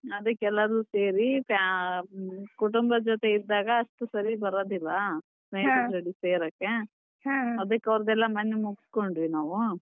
ಅದಕ್ ಎಲ್ಲರೂ ಸೇರಿ fa~ ಕುಟುಂಬದ ಜೋತೆ ಇದ್ದಾಗ ಅಷ್ಟ್ ಸರಿ ಬರಾದಿಲ್ಲ ಸೇರೋಕೆ, ಅದಕ್ ಅವರ್ದ ಎಲ್ಲ ಮನ್ನೇ ಮುಗಿಸ್ಕೊಂಡ್ವಿ ನಾವು.